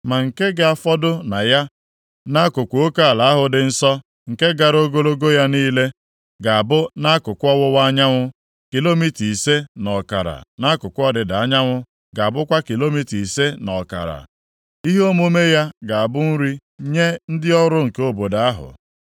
Ma nke ga-afọdụ na ya, nʼakụkụ oke ala ahụ dị nsọ nke gara ogologo ya niile, ga-abụ nʼakụkụ ọwụwa anyanwụ kilomita ise na ọkara nʼakụkụ ọdịda anyanwụ ga-abụkwa kilomita ise na ọkara. Ihe omume ya ga-abụ nri nye ndị ọrụ nke obodo ahụ.